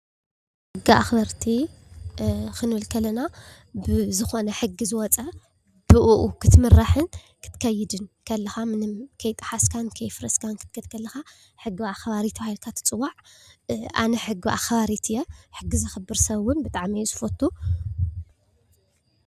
ሕጊ ኣኽበርቲ ኽንብል ከለና ብዝኾነ ሕጊ ዝወፅ ብእኡ ክትምራሕን ክትከይድን ከለኻ፣ ምንም ከይጠሓስካን ከየፍረስካን ክትከድ ከለካ፣ ኣኽባሪ ሕጊ ተባሂልካ ትፅዋዕ። ኣነ ሕጊ ኣክባሪት እየ። ሕጊ ዘክብር ሰብ ግን ብጣዕሚ እየ ዝፈቱ ።